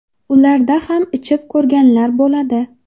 Ularda ham ichib ko‘rganlar bo‘ladi.